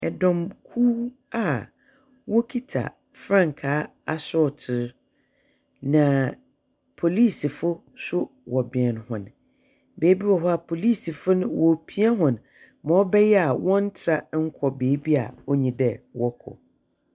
Dɔmkuw a wokita frankaa asorɔtow, na polisifo so wɔbɛn hɔn. Beebi wɔ hɔ a, polisifo no woripia hɔn mbrɛ ɔbɛyɛ a wɔnntra nnkɔ beebi a onnyi dɛ wɔkɔ.